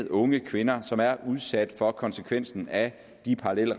unge kvinder som jo er udsat for konsekvenserne af de parallelle